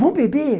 Vão beber?